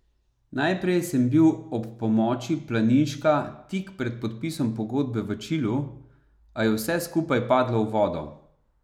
Najprej sem bil ob pomoči Planinška tik pred podpisom pogodbe v Čilu, a je vse skupaj padlo v vodo.